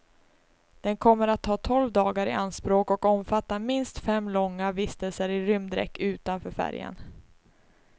Den kommer att ta tolv dagar i anspråk och omfatta minst fem långa vistelser i rymddräkt utanför färjan.